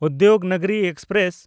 Udyognagri express